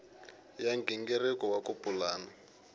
ya nghingiriko wa ku pulana